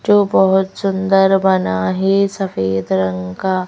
जो बहुत सुंदर बना है सफेद रंग का--